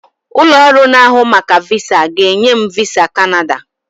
Ụlọ ọrụ na-ahụ maka VISA ga-enye m VISA Kanada